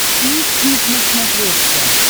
фликснип на смотрешке